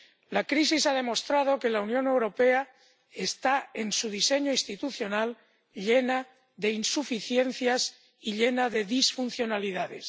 La crisis ha demostrado que la Unión Europea está, en su diseño institucional, llena de insuficiencias y llena de disfuncionalidades.